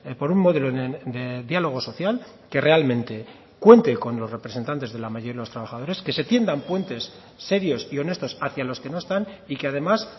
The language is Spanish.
por un modelo de diálogo social que realmente cuente con los representantes de la mayoría de los trabajadores que se tiendan puentes serios y honestos hacia los que no están y que además